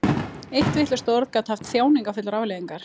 Eitt vitlaust orð gat haft þjáningarfullar afleiðingar.